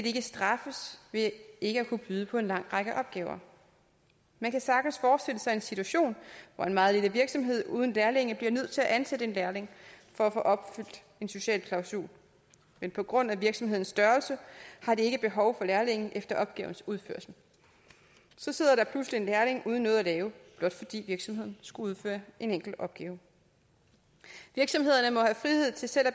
ikke straffes ved ikke at kunne byde på en lang række opgaver man kan sagtens forestille sig en situation hvor en meget lille virksomhed uden lærlinge bliver nødt til at ansætte en lærling for at få opfyldt en social klausul men på grund af virksomhedens størrelse har den ikke behov for lærlingen efter opgavens udførsel så sidder der pludselig en lærling uden noget at lave blot fordi virksomheden skulle udføre en enkelt opgave virksomhederne må have frihed til selv at